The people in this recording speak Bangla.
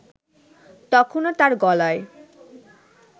তখনও তার গলায়